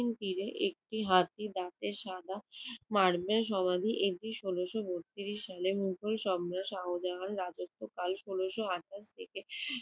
তীরে একটি হাতির দাঁতের সাদা মার্বেল সমাধি। এটি ষোলশ বত্রিশ সালে মোগল সম্রাট শাহজাহান রাজত্বকাল ষোলশ আটাশ থেকে